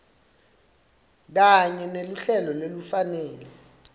kanye neluhlelo lolufanele